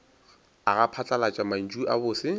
aga phatlalat mantšu a bose